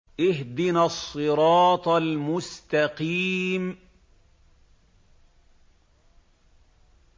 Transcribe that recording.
اهْدِنَا الصِّرَاطَ الْمُسْتَقِيمَ